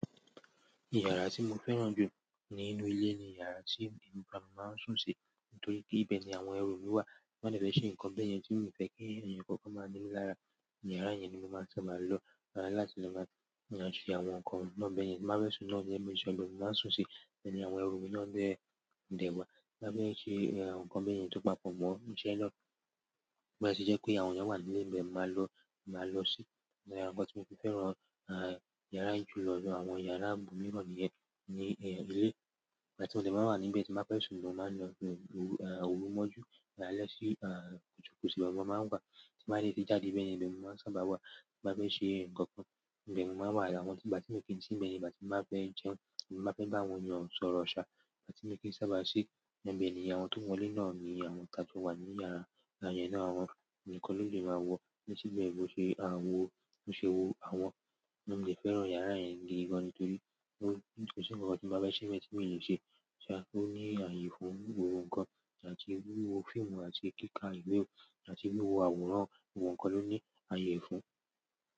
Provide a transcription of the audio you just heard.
Yàrá tí mo fẹ́ràn jù nínú ilé ni yàrá tí inú balùwẹ̀ máa ń sùn sí, nítorí pé ibẹ̀ ni àwọn ẹrù mi wà. Bí mo bá fẹ́ ṣe nǹkan bí ẹni tí mi ò fẹ́ kí ẹ̀yàn kankan máa ní lára, yàrá yẹn ni mo máa sábà máa lọ láti máa yanjú àwọn nǹkan náà bí ẹni tí máa bẹ́ẹ̀ sùn náà jẹ́. Bí mo jẹun lórí, mo máa sùn sí, àti àwọn ẹrù mi náà dẹ̀ máa ń ṣe àwọn nǹkan bí ẹni tó papọ̀ mọ́. Ǹjẹ́ lọ́, bẹ́ẹ̀ sì jẹ́ pé àwọn náà wà ní ibẹ̀ tí mo máa lọ, máa lọ sí. Ara nǹkan tí mo fi fẹ́ràn yàrá yẹn jùlọ ju àwọn yàrá mìíràn ní ilé ìbálẹ̀ sí òkùnkùn tí àwọn ọmọ máa ń gbá tí màá le tí jáde bẹ́ẹ̀ ní ibẹ̀ ni mo máa ń sábà wà. Bí mo bá fẹ́ ṣe nǹkan kan, ibẹ̀ ni mo máa wà. Ìgbà tí mo kí n sì mẹ́ẹ́, ìgbà tí mo bá fẹ́ jẹun, ìgbà tí mo bá fẹ́ bá àwọn ènìyàn sọ̀rọ̀ ṣá, ìgbà tí mo kí ń sábà ṣí i, ibẹ̀ ni àwọn tó wọlé náà ní àwọn ìtàjọ wà ní yàrá yẹn náà. Àwọn ǹkan ló lè máa wọ̀, bí ó ṣe bẹ́ẹ̀ bó ṣe àwọ̀, bó ṣe wò àwọ̀. Ní òde fẹ́ràn yàrá yẹn gidi gan ní nítorí pé ó ń tún ṣe nǹkan tí mo bá fẹ́ ṣe mẹ́ẹ̀sìn mí ò le ṣe. Ṣá, ó ní àyè fún ohun kan láti rí wo fíìmù àti kíka ìwé àti rí wo àwòrán. Ohun kan ló ní àyè fún.